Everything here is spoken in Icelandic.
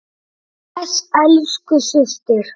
Bless elsku systir.